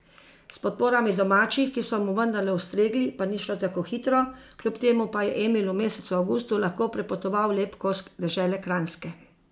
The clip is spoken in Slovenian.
S podporami domačih, ki so mu vendarle ustregli, pa ni šlo tako hitro, kljub temu pa je Emil v mesecu avgustu lahko prepotoval lep kos dežele Kranjske .